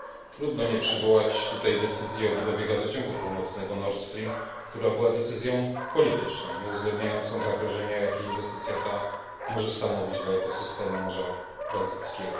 Trudno nie przywołać tutaj decyzji o budowie Gazociągu Północnego która była decyzją polityczną, nieuwzględniającą zagrożenia, jakie inwestycja ta może stanowić dla ekosystemu Morza Bałtyckiego.